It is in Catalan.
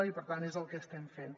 i per tant és el que estem fent